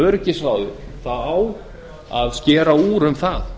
öryggisráðið á meðal annars að skera úr um það